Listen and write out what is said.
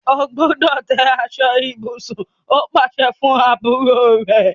O gbúdọ̀ tẹ́ aṣọ ibùsùn! ó pàsẹ fún àbúrò rẹ̀.